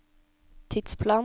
tidsplan